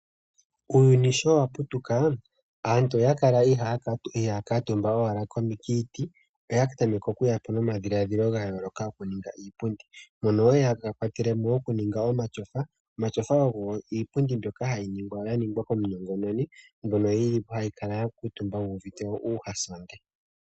Uuyuni sho wa putuka, aantu oya kala iha ya kutumba owala kiiti, noye yapo nomadhiladhilo gayoloka goku ninga iipundi mono yakwatelemo oku ninga omatyofa ngoka geli iipundi ndyoka ya ningwa komunongononi mbyono ngele weyi kutumba oho kala wuvite nawa.